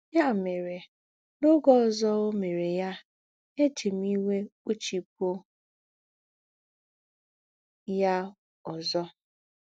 Yá mèrè, n’ógè ọ̀zọ̀ ó mèrè yà, èjì m ìwé kpụ̀chìpụ̀ yà ǒzọ̀.